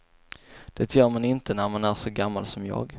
Det gör man inte när man är så gammal som jag.